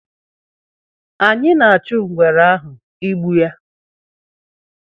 anyị na achụ ngwere ahụ ịgbu ya